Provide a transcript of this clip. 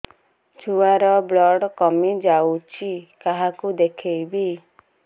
ଛୁଆ ର ବ୍ଲଡ଼ କମି ଯାଉଛି କାହାକୁ ଦେଖେଇବି